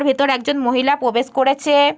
ভিতরে একজন মহিলা প্রবেশ করেছে।